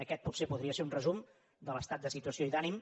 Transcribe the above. aquest potser podria ser un resum de l’estat de situació i d’ànim